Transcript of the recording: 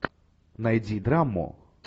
найди драму